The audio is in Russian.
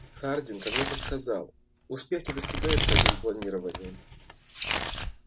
хардин когда-то сказал успех не достигается одним планированием